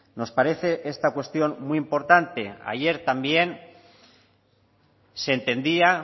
nos parece esta cuestión muy importante ayer también se entendía